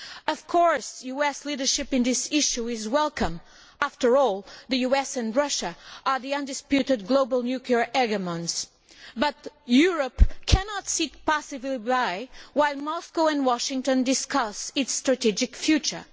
Of course, US leadership on this issue is welcome. After all, the US and Russia are the undisputed global nuclear hegemons. However, Europe cannot sit passively by while Moscow and Washington discuss its strategic future.